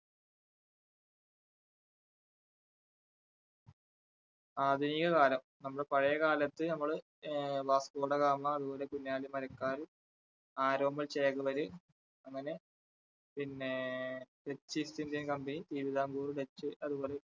ആധുനിക കാലം നമ്മള് പഴയ കാലത്ത് നമ്മള് ആ വാസ്കോഡഗാമ അതുപോലെ കുഞ്ഞാലിമരക്കാര്, ആരോമൽ ചേകവര് അങ്ങനെ പിന്നെ dutch east indian company Thiruvithamkoor dutch അതുപോലെ